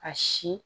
A si